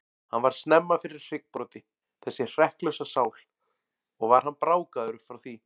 Hann varð snemma fyrir hryggbroti, þessi hrekklausa sál, og var hann brákaður upp frá því.